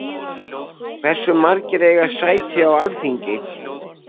Hversu margir eiga sæti á Alþingi?